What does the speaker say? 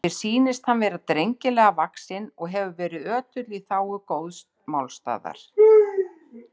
Mér sýnist hann vera drengilega vaxinn og hefur verið ötull í þágu góðs málstaðar.